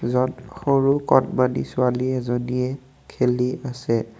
য'ত অকণমানি ছোৱালী এজনীয়ে খেলি আছে।